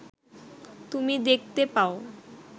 তুমি দেখতে পাও